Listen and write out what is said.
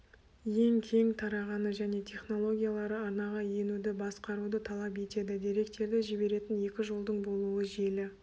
ең кең тарағаны және технологиялары арнаға енуді басқаруды талап етеді деректерді жіберетін екі жолдың болуы желі